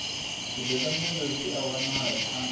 zwidodombedzwa zwi a wanalea kha